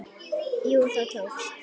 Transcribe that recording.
Jú, það tókst!